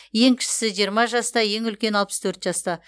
ең кішісі жиырма жаста ең үлкені алпыс төрт жаста